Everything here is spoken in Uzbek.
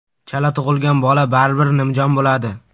Chala tug‘ilgan bola baribir nimjon bo‘ladi.